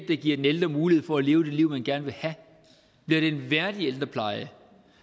der giver den ældre mulighed for at leve det liv man gerne vil have bliver det en værdig ældrepleje